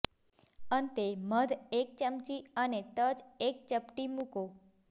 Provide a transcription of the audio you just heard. અંતે મધ એક ચમચી અને તજ એક ચપટી મૂકો